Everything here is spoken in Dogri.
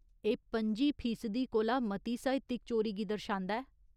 एह् पं'जी फीसदी कोला मती साहित्यक चोरी गी दर्शांदा ऐ।